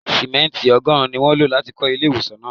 Simẹnti ọgọ́rùn-ún ni wọ́n lo láti kọ ilé ìwòsàn náà.